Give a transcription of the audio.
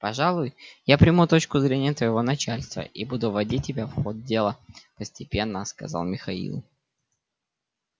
пожалуй я приму точку зрения твоего начальства и буду вводить тебя в ход дела постепенно сказал михаил